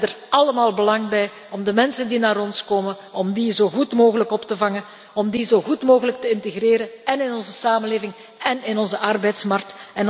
We hebben er allemaal belang bij om de mensen die naar ons komen zo goed mogelijk op te vangen en hen zo goed mogelijk te integreren in onze samenleving en op onze arbeidsmarkt.